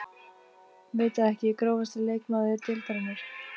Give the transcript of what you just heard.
Veit það ekki Grófasti leikmaður deildarinnar?